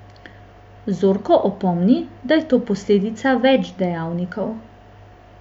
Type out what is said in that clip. Zorko opomni, da je to posledica več dejavnikov.